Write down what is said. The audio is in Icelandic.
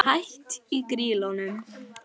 Hætt í Grýlunum?